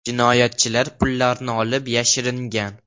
Jinoyatchilar pullarni olib yashiringan.